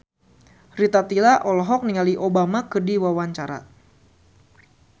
Rita Tila olohok ningali Obama keur diwawancara